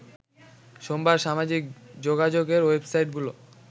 সোমবার সামাজিক যোগাযোগের ওয়েবসাইটগুলো